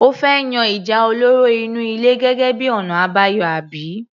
O fẹ́ yan ìjà olóró inú ilé gẹ́gẹ́ bíi ọ̀nà àbáyọ àbí?